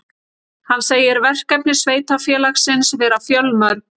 Hann segir verkefni sveitarfélagsins vera fjölmörg